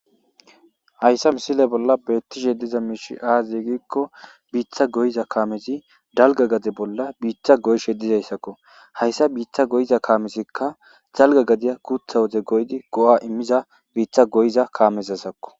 Haysa misile bolla betishe diza miishi azee gikon bitta goyiza kamezi dalga gade bolla bitta goyishe dizaysako. Haysa bitta goyiza kaamezika dalga gadiya guutha woden goyidi go'a immiza bitta goyiza kamezako.